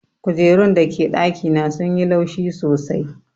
Kujerun da ke dakina sun yi laushi sosai.